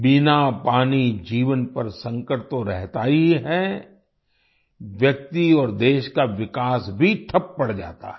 बिना पानी जीवन पर संकट तो रहता ही है व्यक्ति और देश का विकास भी ठप्प पड़ जाता है